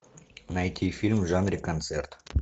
найти фильм в жанре концерт